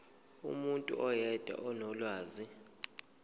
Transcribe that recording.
umuntu oyedwa onolwazi